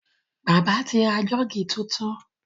Bàbá ti ra Jọ́ọ̀gì tuntun.